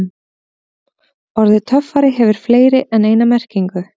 Orðið töffari hefur fleiri en eina merkingu.